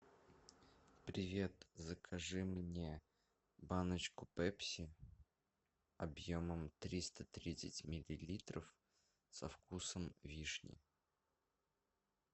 привет закажи мне баночку пепси объемом триста тридцать миллилитров со вкусом вишни